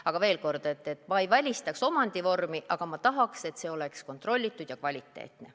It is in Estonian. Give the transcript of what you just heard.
Aga veel kord, ma ei välistaks ühtki omandivormi, aga ma tahaks, et see oleks kontrollitud ja kvaliteetne.